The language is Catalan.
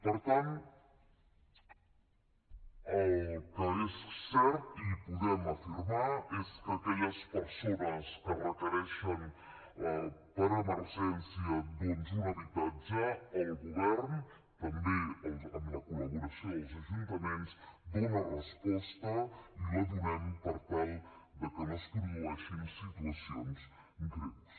per tant el que és cert i podem afirmar és que aquelles persones que requereixen per emergència doncs un habitatge el govern també amb la col·laboració dels ajuntaments hi dona resposta i la donem per tal de que no es produeixin situacions greus